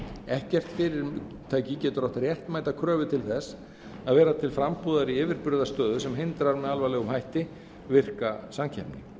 ekkert fyrirtæki getur átt réttmæta kröfu til þess að vera til frambúðar í yfirburðastöðu sem hindrar með alvarlegum hætti virka samkeppni